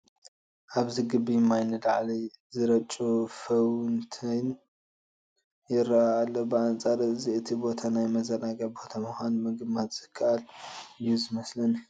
ኣብዚ ግቢ ማይ ንላዕሊ ዝረጩ ፋውንተይን ይርአ ኣሎ፡፡ ብኣንፃር እዚ እቲ ቦታ ናይ መዘናግዒ ቦታ ምዃኑ ምግማት ዝከኣል እዩ ዝመስለኒ፡፡